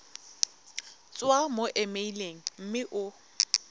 tswa mo emeileng mme o